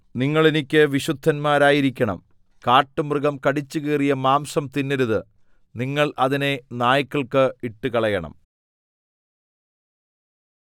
നിങ്ങൾ എനിക്ക് വിശുദ്ധന്മാരായിരിക്കണം കാട്ടുമൃഗം കടിച്ചുകീറിയ മാംസം തിന്നരുത് നിങ്ങൾ അതിനെ നായ്ക്കൾക്ക് ഇട്ടുകളയണം